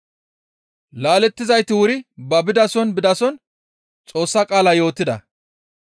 Laalettidayti wuri ba bidason bidason Xoossa qaala yootida.